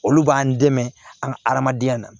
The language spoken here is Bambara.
Olu b'an dɛmɛ an ka adamadenya na